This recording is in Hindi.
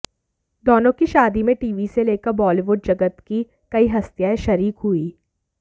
दोनों की शादी में टीवी से लेकर बॉलीवुड जगत की कई हस्तियां शरीक हुईं